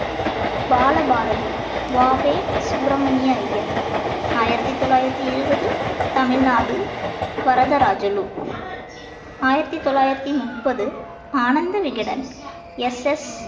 பாலபாரதி வா வே சுப்பிரமணிய ஐயர் ஆயிரத்தி தொள்ளாயிரத்தி இருபது தமிழ்நாடு வரதராஜலு ஆயிரத்தி தொள்ளாயிரத்தி முப்பது ஆனந்த விகடன் எஸ் எஸ்